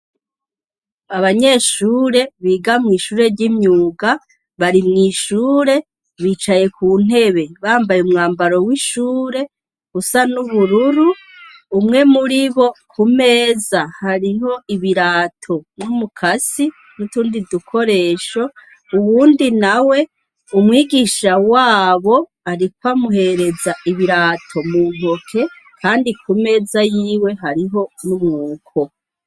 Abanyeshure biga mw'ishure ry'imyuga bari mw'ishure bicaye ku ntebe, bambaye umwambaro w'ishure usa n'ubururu. Umwe muri bo ku meza hariho ibirato, umukasi n'utundi dukoresho. Uwundi nawe umwigisha wabo ariko amuherereza ibirato mu ntoke, kandi ku meza yiwe hariho n'umwuko.